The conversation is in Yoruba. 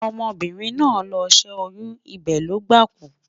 ọmọ birin nà ló sẹ oyun, ibe Logba kú